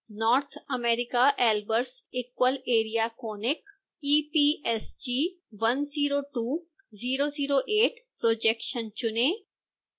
north_america_albers_equal_area_conic epsg:102008 projection चुनें